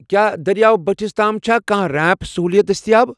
کیٛاہ دٔریاو بٔٹھس تام چھا کانٛہہ ریمپٕ سہوُلیت دٔستیاب؟